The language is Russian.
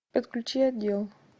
подключи отдел